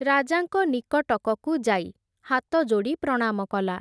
ରାଜାଙ୍କ ନିକଟକକୁ ଯାଇ, ହାତଯୋଡ଼ି ପ୍ରଣାମ କଲା ।